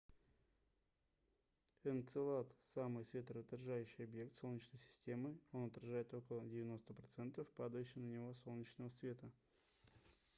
энцелад самый светоотражающий объект солнечной системы он отражает около 90 процентов падающего на него солнечного света